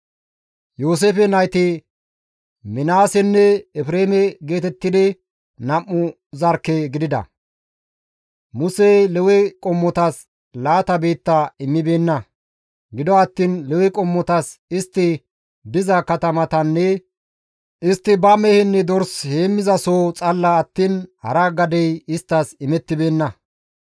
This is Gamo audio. Yooseefe nayti Minaasenne Efreeme geetettidi nam7u zarkke gidida. Musey Lewe qommotas laata biitta immibeenna; gido attiin Lewe qommotas istti diza katamatanne istti ba mehenne dorsa heemmizasoho xalla attiin hara gadey isttas imettibeenna.